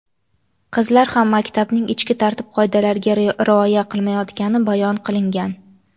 qizlar ham maktabning ichki tartib-qoidalariga rioya qilmayotgani bayon qilingan.